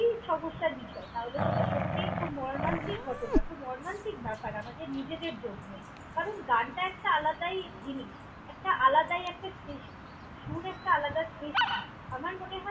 সমস্যার বিষয়, তাহলে সেটা সত্যিই খুব মর্মান্তিক ঘটনা, খুব মর্মান্তিক ব্যাপার আমাদের নিজেদের জন্যই। কারণ, একটা আলাদাই জিনিস, আলাদাই একটা সৃষ্টি। সুর একটা আলাদা সৃষ্টি, আমার মনে হয়।